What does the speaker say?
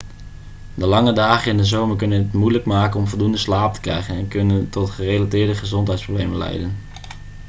de lange dagen in de zomer kunnen het moeilijk maken om voldoende slaap te krijgen en kunnen tot gerelateerde gezondheidsproblemen leidden